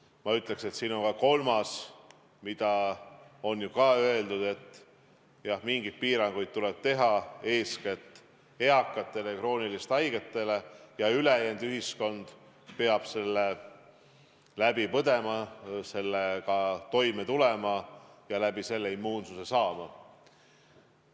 Ma ütleks, et on ka kolmas strateegia, seda on ju ka öeldud, et mingeid piiranguid tuleb teha eeskätt eakatele ja krooniliselt haigetele, aga ülejäänud ühiskond peab selle läbi põdema, sellega toime tulema ja nii immuunsuse saama.